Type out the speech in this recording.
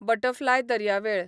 butterfly दर्यावेळ